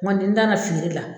N kɔni n nara feere la